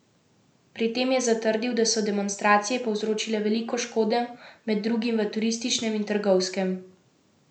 Pri tem je zatrdil, da so demonstracije povzročile veliko škode med drugim v turističnem in trgovskem sektorju.